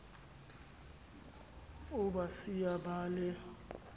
o ba siya ba le